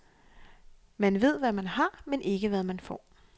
Man ved, hvad man har, men ikke hvad man får.